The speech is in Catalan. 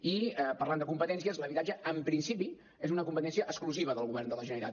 i parlant de competències l’habitatge en principi és una competència exclusiva del govern de la generalitat